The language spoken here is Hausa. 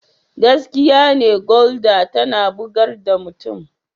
Gaskiya ne Gulder tana bugar da mutum.